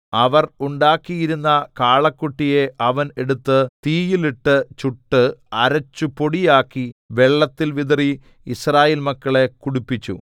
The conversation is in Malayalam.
അവർ ഉണ്ടാക്കിയിരുന്ന കാളക്കുട്ടിയെ അവൻ എടുത്ത് തീയിൽ ഇട്ട് ചുട്ട് അരച്ചു പൊടിയാക്കി വെള്ളത്തിൽ വിതറി യിസ്രായേൽ മക്കളെ കുടിപ്പിച്ചു